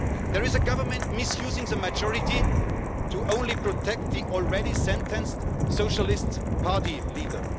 There is a Government misusing a majority to protect the already sentenced Socialist Party leader.